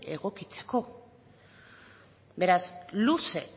egokitzeko beraz luze